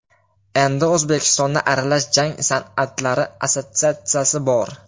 Endi O‘zbekistonda Aralash jang san’atlari assotsiatsiyasi bor .